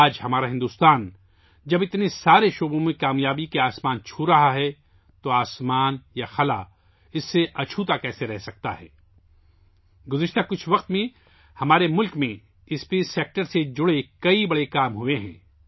آج جب ہمارا ہندوستان بہت سارے میدانوں میں کامیابی کے آسمان کو چھو رہا ہے تو آسمان یا خلا اس سے کیسے اچھوتے رہ سکتے ہیں! پچھلے کچھ سالوں میں ہمارے ملک میں خلائی شعبے سے متعلق کئی بڑے کام ہوئے ہیں